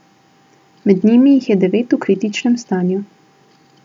Med njimi jih je devet v kritičnem stanju.